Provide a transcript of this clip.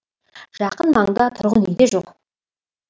жақын маңда тұрғын үй де жоқ